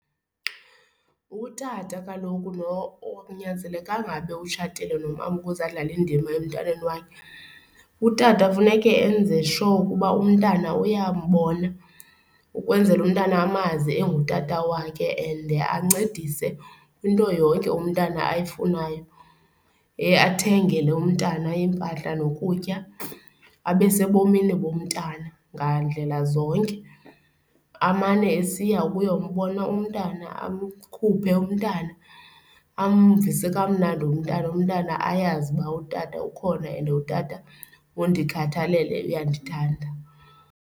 Utata kaloku lo akunyanzelekanga abe utshatile nomama ukuze adlala indima emntwaneni wakhe. Utata funeke enze sure ukuba umntana umyabona ukwenzela umntana amazi engutata wakhe and ancedise kwinto yonke umntana ayifunayo. Athengele umntana iimpahla nokutya, abe sebomini bomntana ngandlela zonke. Amane esiya ukuyombona umntana, amkhuphe umntana, amvise kamnandi umntana. Umntana ayazi uba utata ukhona and utata undikhathalele uyandithanda.